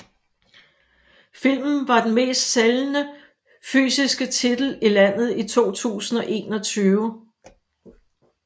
Filmen var den mest sælgende fysiske titel i landet i 2021